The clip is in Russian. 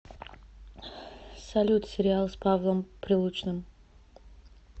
салют сериал с павлом прилучным